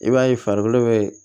I b'a ye farikolo bɛ